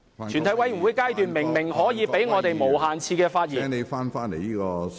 全體委員會階段明明容許我們無限次發言......